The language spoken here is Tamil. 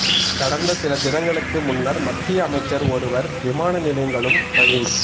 கடந்த சில தினங்களுக்கு முன்னர் மத்திய அமைச்சர் ஒருவர் விமான நிலையங்களும் ரயில்